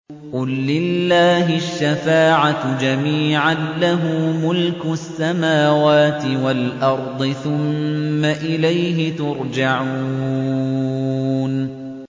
قُل لِّلَّهِ الشَّفَاعَةُ جَمِيعًا ۖ لَّهُ مُلْكُ السَّمَاوَاتِ وَالْأَرْضِ ۖ ثُمَّ إِلَيْهِ تُرْجَعُونَ